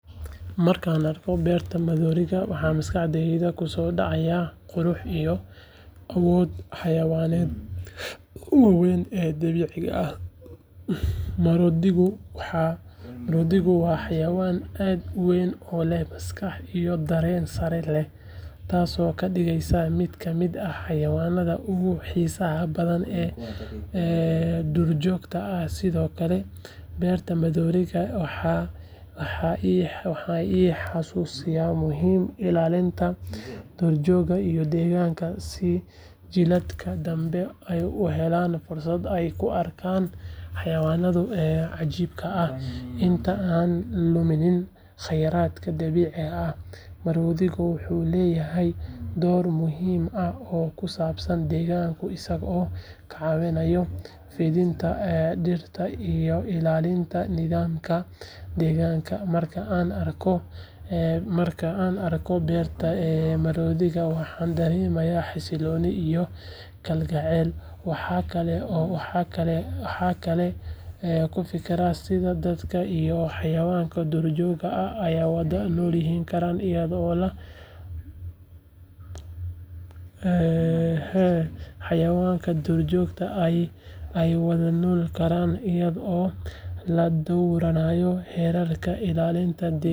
Markaan arko beerta maroodiga waxay maskaxdayda ku soo dhacdaa quruxda iyo awoodda xayawaankan waaweyn ee dabiiciga ah maroodigu waa xayawaan aad u weyn oo leh maskax iyo dareen sare leh taasoo ka dhigaysa mid ka mid ah xayawaanka ugu xiisaha badan ee duurjoogta ah sidoo kale beerta maroodiga waxay i xasuusisaa muhiimada ilaalinta duurjoogta iyo deegaanka si jiilalka dambe ay u helaan fursad ay ku arkaan xayawaankan cajiibka ah inta aanan luminin kheyraadka dabiiciga ah maroodigu wuxuu leeyahay door muhiim ah oo ku saabsan deegaanka isagoo ka caawinaya fidinta dhirta iyo ilaalinta nidaamka deegaanka marka aan arko beerta maroodiga waxaan dareemaa xasillooni iyo kalgacal waxaan kaloo ku fikiraa sida dadka iyo xayawaanka duurjoogta ah ay wada noolaan karaan iyadoo la dhowrayo xeerarka ilaalinta deegaanka.